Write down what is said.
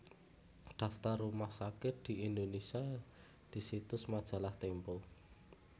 Daftar rumah sakit di Indonesia di situs Majalah Tempo